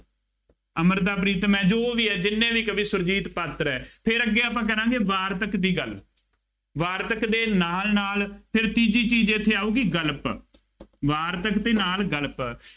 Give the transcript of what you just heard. ਅੰਮ੍ਰਿਤਾ ਪ੍ਰੀਤਮ ਹੈ ਜੋ ਵੀ ਹੈ ਜਿੰਨੇ ਵੀ ਕਵੀ ਸੁਰਜੀਤ ਪਾਤਰ ਹੈ ਫੇਰ ਅੱਗੇ ਆਪਾਂ ਕਰਾਂਗੇ ਵਾਰਤਕ ਦੀ ਗੱਲ, ਵਾਰਤਕ ਦੇ ਨਾਲ ਨਾਲ ਫਿਰ ਤੀਜੀ ਚੀਜ਼ ਇੱਥੇ ਆਊਗੀ ਗਣਪੱਤ, ਵਾਰਤਕ ਦੇ ਨਾਲ ਗਣਪੱਤ